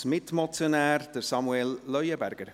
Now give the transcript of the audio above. Als Mitmotionär Samuel Leuenberger.